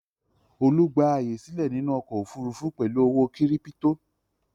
Olú gba àyè sílẹ̀ nínú ọkọ̀-òfurufú pẹ̀lú ọ̀wọ́ kírípító.